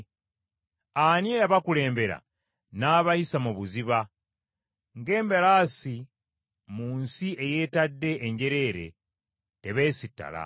Ani eyabakulembera n’abayisa mu buziba? Ng’embalaasi mu nsi eyeetadde enjereere tebeesittala.